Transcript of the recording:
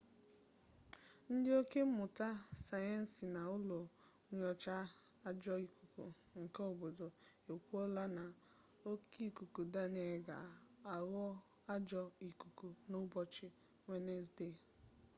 ndị ọka mmụta sayensị na n'ụlọ nyocha ajọ ikuku nke obodo ekwuola na oke ikuku daniel ga aghọ ajọ ikuku na ụbọchị wenezde